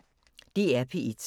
DR P1